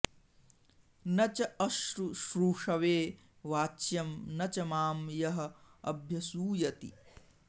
न च अशुश्रूषवे वाच्यम् न च माम् यः अभ्यसूयति